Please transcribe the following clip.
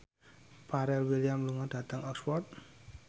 Pharrell Williams lunga dhateng Oxford